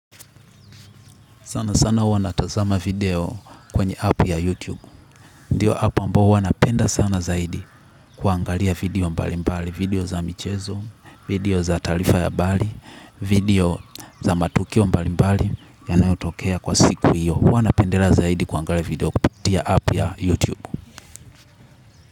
Sana sana wanatazama video kwenye app ya YouTube. Ndiyo app ambao huwa napenda sana zaidi. Kuangalia video mbalimbali video za michezo video za taraifa ya habari video za matukio mbalimbali yanayotokea kwa siku hiyo. Huwa napendelea zaidi kuangalia video kupitia app ya YouTube.